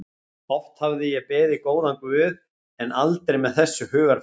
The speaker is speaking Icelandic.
Oft hafði ég beðið góðan guð en aldrei með þessu hugarfari.